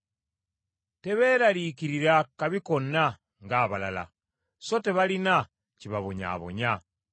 Tebeeraliikirira kabi konna ng’abalala. So tebalina kibabonyaabonya.